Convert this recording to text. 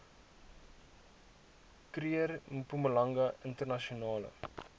kruger mpumalanga internasionale